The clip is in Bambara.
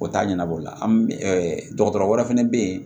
O t'a ɲɛnabɔ o la dɔgɔtɔrɔ wɛrɛ fɛnɛ bɛ yen